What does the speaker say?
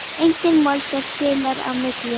Edith Molnar spilar á milli.